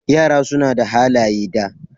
Yara suna da halaye da.